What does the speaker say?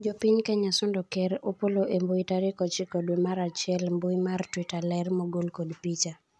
Jopiny Kenya sundo ker Opollo e mbui tarik ochiko dwe mar achiel ,mbui mar twitter ler mogol kod picha